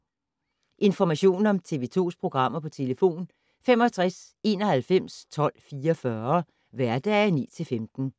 Information om TV 2's programmer: 65 91 12 44, hverdage 9-15.